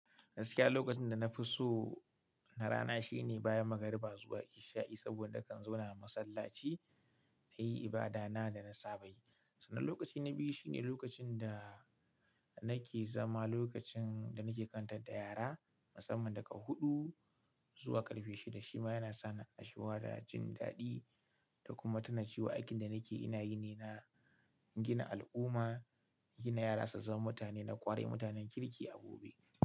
Gaskiya lokacin da na fi so na rana shine bayan magariba zuwa isha'i saboda kan zauna a masallaci, na yi ibada na da na saba yi. Sannan lokaci na biyu shine lokacin da nake zama, lokacin da nake karantar da yara, musamman daga huɗu zuwa ƙarfe shida. Shima yana sa ni annashuwa da jin daɗi da kuma tuna cewa aikin da nake ina yi ne na gina al'umma, gina yara su zama mutane, na ƙwarai mutanen kirki a gobe.